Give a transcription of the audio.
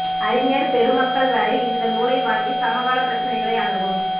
அறிஞர் பெருமக்கள் வரை இந்த நூலை வாங்கி சமகால பிரச்சனைகளை அணுகும்